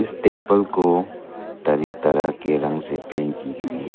इस टेंपल को कई तरह के रंग से पेंट की गई है।